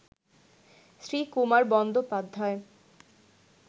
Srikumar Bandyopadhyay